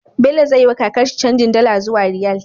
Bello zai yi wa kakar shi canjin dala zuwa riyal